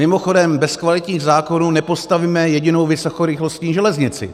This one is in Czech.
Mimochodem, bez kvalitních zákonů nepostavíme jedinou vysokorychlostní železnici.